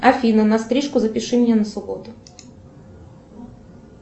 афина на стрижку запиши меня на субботу